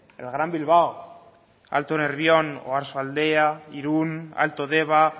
el gran bilbao alto nervión oarsoaldea irún alto deba